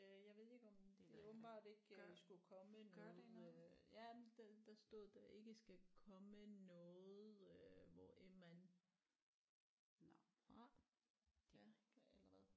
Øh jeg ved ikke om det åbenbart ikke skulle komme noget øh der ja men der stod der ikke skal komme noget øh hvorend man er fra ja eller hvad